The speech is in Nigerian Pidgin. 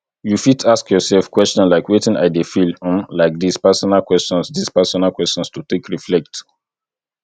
you fit ask your yourself question like wetin i dey feel um like this personal questions this personal questions to take reflect